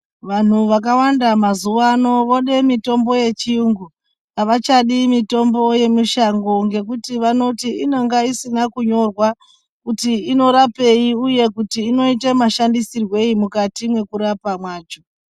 Vanhu vakawanda mazuwa ano vode mitombo yechiyungu, avachadi mitombo yemushango ngekuti vanoti inenge isina kunyorwa kuti inorapei uye kuti inoite mushandisirwei mukati mwekurapa mwacho.